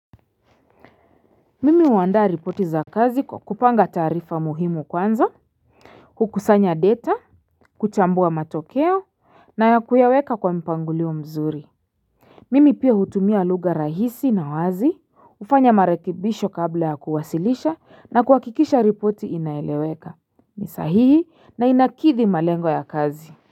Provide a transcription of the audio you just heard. Mimi huandaa ripoti za kazi kwa kupanga taarifa muhimu kwanza hukusanya data kuchambua matokeo na ya kuyeweka kwa mpangulio mzuri Mimi pia hutumia lugha rahisi na wazi hufanya marekibisho kabla ya kuwasilisha na kuhakikisha ripoti inaeleweka ni sahihi na inakithi malengo ya kazi.